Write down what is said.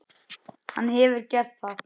Hefur hann gert það?